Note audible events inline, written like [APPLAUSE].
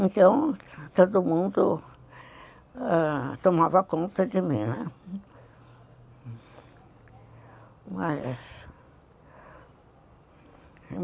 Então, todo mundo tomava conta de mim, né. [UNINTELLIGIBLE]